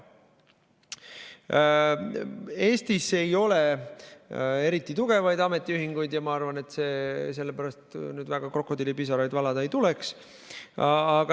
Eestis ei ole eriti tugevaid ametiühinguid ja ma arvan, et sellepärast väga krokodillipisaraid valada ei tuleks.